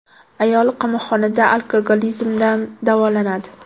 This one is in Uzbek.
Ayol qamoqxonada alkogolizmdan davolanadi.